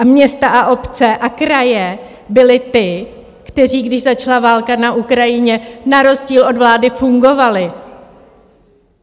A města a obce a kraje byly ty, které, když začala válka na Ukrajině, na rozdíl od vlády fungovaly.